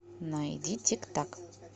найди тик так